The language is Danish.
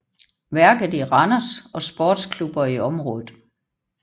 Værket i Randers og sportsklubber i området